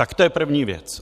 Tak to je první věc.